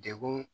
Degun